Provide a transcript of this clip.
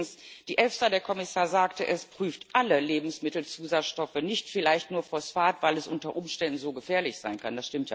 Und übrigens Die EFSA der Kommissar sagte es prüft alle Lebensmittelzusatzstoffe, nicht nur Phosphat, weil es unter Umständen so gefährlich sein kann